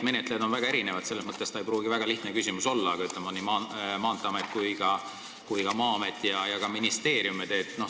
Menetlejaid on väga erinevaid, selles mõttes ei pruugi see väga lihtne küsimus olla, aga ütleme, et Maanteeamet, Maa-amet ja ka ministeerium?